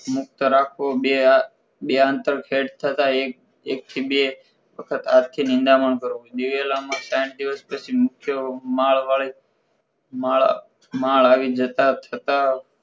મુક્તા રાખવું બે બે આંતર સેટ થતાં એક થી બે વખત હાથથી નીંદામણ કરવું દિવેલા માં ત્રણ દિવસ સુધી મુખ્ય માળ માળ આવી જતાં છતાં